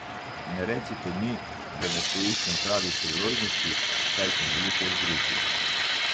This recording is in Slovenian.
Ne recite mi, da ne poiščem pravih priložnosti, saj sem veliko v družbi.